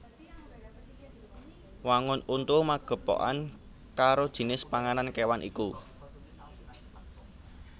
Wangun untu magepokan karo jinis panganan kéwan iku